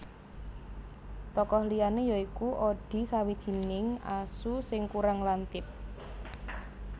Tokoh liyané ya iku Odie sawijining asu sing kurang lantip